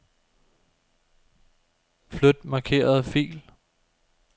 Flyt markerede fil.